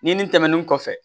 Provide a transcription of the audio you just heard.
Ɲinini tɛmɛnen kɔfɛ